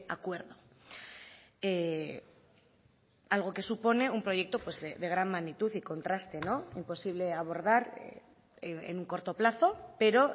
acuerdo algo que supone un proyecto de gran magnitud y contraste imposible abordar en un corto plazo pero